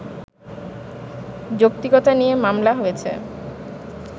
যৌক্তিকতা নিয়ে মামলা হয়েছে